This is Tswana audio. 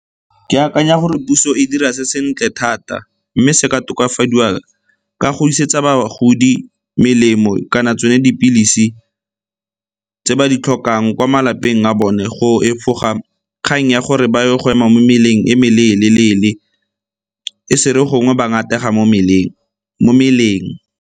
Ke akanya gore puso e dira se sentle thata mme se ka tokafadiwa ka go isetsa bagodi melemo kana tsone dipilisi tse ba di tlhokang kwa malapeng a bone go efoga kgang ya gore ba ye go ema mo mmeleng e meleele-leele, e se re gongwe ba latlhega mo meleng.